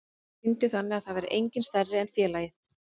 Sýndi þannig að það væri enginn stærri en félagið.